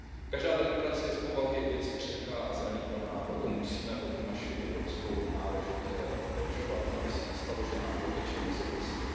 Každá demokracie je z povahy věci křehká a zranitelná, proto musíme o tu naši evropskou náležitě pečovat, aby se nestalo, že nám proteče mezi prsty.